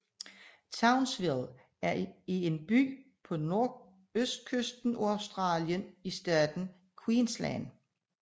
Townsville er en by på nordøstkysten af Australien i staten Queensland